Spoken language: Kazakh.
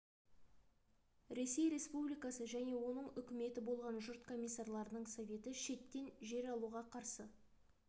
ресей республикасы және оның үкіметі болған жұрт комиссарларының советі шеттен жер алуға қарсы